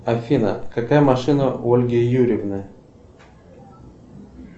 афина какая машина у ольги юрьевны